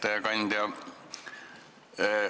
Hea ettekandja!